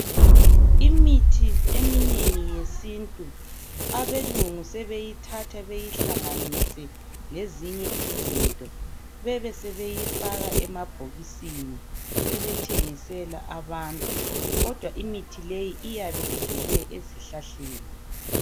Imithi eminengi yesintu belungu sebeyithatha beyihlanganise lezinye izinto bebesebeyifaka emabhokisini sebethengisela abantu kodwa imithi leyi iyabe ivele ezihlahleni.